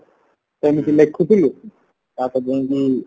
ସେମିତି ଲେଖୁଥିଲୁ ତାପରେ ଯାଇଙ୍କି